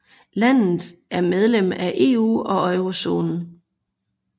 Landet er medlem af EU og eurozonen